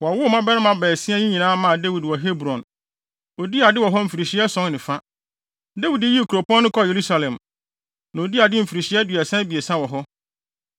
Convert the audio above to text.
Wɔwowoo mmabarima baasia yi nyinaa maa Dawid wɔ Hebron. Odii ade wɔ hɔ mfirihyia ason ne fa. Dawid yii kuropɔn no kɔɔ Yerusalem, na odii ade mfirihyia aduasa abiɛsa wɔ hɔ.